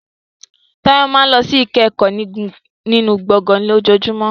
Tayo máa ń lọ sí ìkẹ́kọ̀ọ́ nínú gbọ̀ngàn lójoojúmọ́.